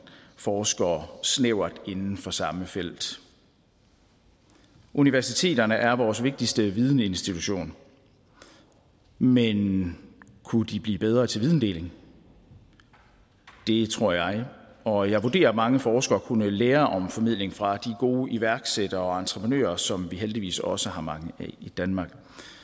forskere snævert inden for samme felt universiteterne er vores vigtigste videninstitution men kunne de blive bedre til videndeling det tror jeg og jeg vurderer at mange forskere kunne lære om formidling fra de gode iværksættere og entreprenører som vi heldigvis også har mange af i danmark